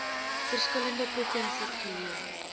verskillende provinsies geleë